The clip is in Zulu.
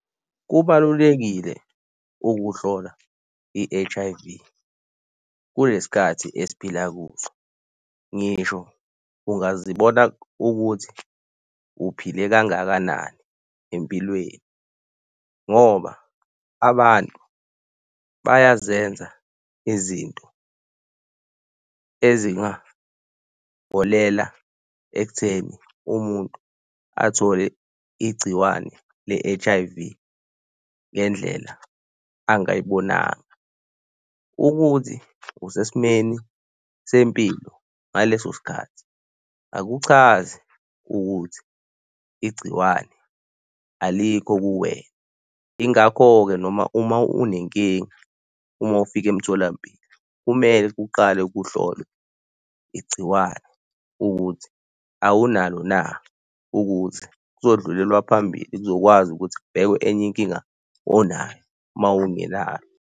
Kubalulekile ukuhlola i-H_I_V kule sikhathi esiphila kuso. Ngisho ungazibona ukuthi uphile kangakanani empilweni ngoba abantu bayazenza izinto ezingaholela ekutheni umuntu athole igciwane le-H_I_V ngendlela angayibonanga. Ukuthi usesimweni sempilo ngaleso sikhathi akuchazi ukuthi igciwane alikho kuwena. Yingakho-ke noma uma unenkinga uma ufika emtholampilo kumele kuqale kuhlolwe igciwane ukuthi awunalo na ukuthi kuzodlulelwa phambili. Kuzokwazi ukuthi kubhekwe enye inkinga onayo mawungenalo.